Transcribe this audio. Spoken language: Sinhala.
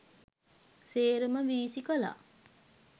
සේරම වීසි කළා.